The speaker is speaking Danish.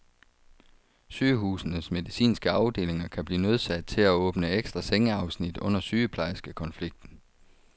Sygehusenes medicinske afdelinger kan blive nødsaget til at åbne ekstra sengeafsnit under sygeplejerskekonflikten.